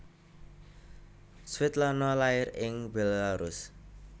Svetlana lair ing Bélarus